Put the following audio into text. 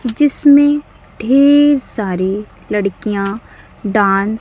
जिसमें ढेर सारी लड़कियां डांस --